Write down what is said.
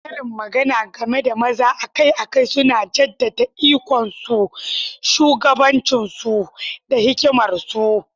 Karin magana game da maza akai-akai suna jaddada ikonsu, shugabancinsu, da hikimarsu.